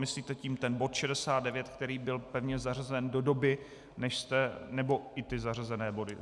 Myslíte tím ten bod 69, který byl pevně zařazen do doby, než jste... nebo i ty zařazené body?